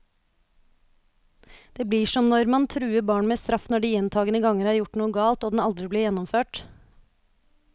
Det blir som når man truer barn med straff når de gjentagende ganger har gjort noe galt, og den aldri blir gjennomført.